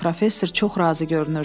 Professor çox razı görünürdü.